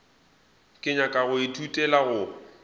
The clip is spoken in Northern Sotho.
ke nyaka go ithutela go